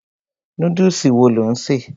Núdùsì wo lò ń ṣè?